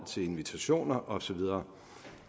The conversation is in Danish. til invitationer og så videre